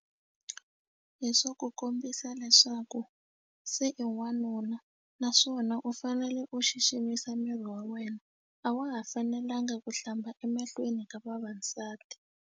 Hi swa ku kombisa leswaku se i wanuna naswona u fanele u xiximisa miri wa wena a wa ha fanelanga ku hlamba emahlweni ka vavasati.